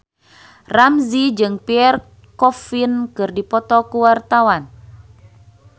Ramzy jeung Pierre Coffin keur dipoto ku wartawan